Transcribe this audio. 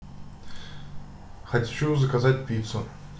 хочу заказать пиццу